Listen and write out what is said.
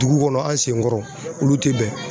Dugu kɔnɔ an sen kɔrɔ olu tɛ bɛn